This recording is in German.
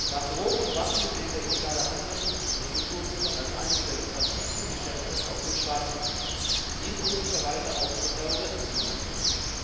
Nach Drogen und Waffen gilt der illegale Handel mit Kulturgütern als eines der lukrativsten Geschäfte auf dem Schwarzmarkt, dient möglicherweise auch zur Terrorismusfinanzierung.